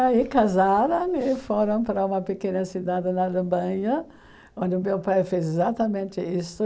Aí casaram e foram para uma pequena cidade na Alemanha, onde o meu pai fez exatamente isso.